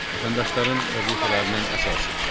Vətəndaşların vəzifələrinin əsası.